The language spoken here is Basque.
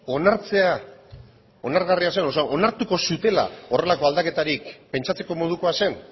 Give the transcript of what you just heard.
onartzea onargarria zen onartuko zutela horrelako aldaketarik pentsatzeko modukoa zen